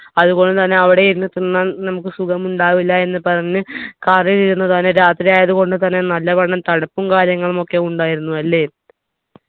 അതുകൊണ്ട് തന്നെ അവിടെ ഇരുന്ന് തിന്നാൻ നമുക്ക് സുഖമുണ്ടാവില്ല എന്ന് പറഞ്ഞ് car ൽ ഇരുന്ന് തന്നെ രാത്രിയായത് കൊണ്ടുതന്നെ നല്ലവണ്ണം തണുപ്പും കാര്യങ്ങളുമൊക്കെ ഉണ്ടായിരുന്നു അല്ലെ